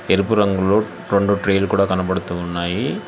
ఎరుపు రంగులో రొండు ట్రేలు కూడా కనబడుతూ ఉన్నాయి.